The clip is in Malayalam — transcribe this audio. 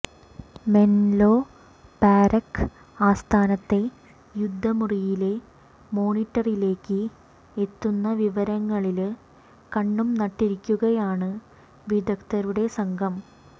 മെന്ലോ പാര്ക്ക് ആസ്ഥാനത്തെ യുദ്ധമുറിയിലെ മോണിട്ടറിലേക്ക് എത്തുന്ന വിവരങ്ങളില് കണ്ണും നട്ടിരിക്കുകയാണ് വിദഗ്ധരുടെ സംഘം